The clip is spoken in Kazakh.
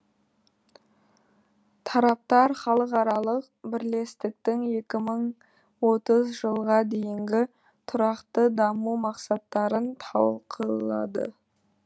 тараптар халықаралық бірлестіктің екі мың отыз жылға дейінгі тұрақты даму мақсаттарын талқылады